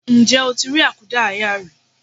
Ǹjẹ́ o ti rí àkúdáàyá rí?